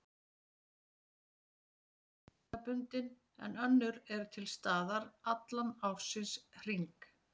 Sum mygla er árstíðabundin en önnur er til staðar allan ársins hring.